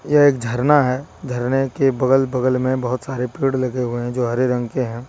यह एक झरना है झरने के बगल बगल में बहुत सारे पेड़ लगे हुए हैं जो हरे रंग के हैं।